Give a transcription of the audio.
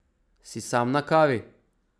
Si sam na kavi?